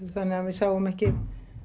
þannig að við sáum ekki